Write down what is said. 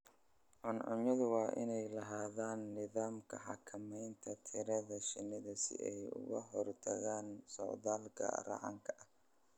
Cuncunyadu waa inay lahaadaan nidaamka xakamaynta tirada shinnida si ay uga hortagaan socdaalka raxanka ah.